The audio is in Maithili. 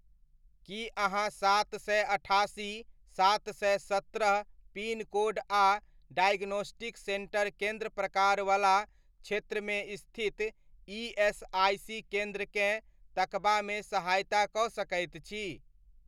की अहाँ सात सए अठासी, सात सए सत्रह पिनकोड आ डाइगोनोस्टिक सेन्टर केन्द्र प्रकार वला क्षेत्रमे स्थित ईएसआइसी केन्द्रकेँ तकबामे सहायता कऽ सकैत छी?